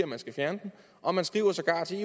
man skal fjerne den og man skriver sågar til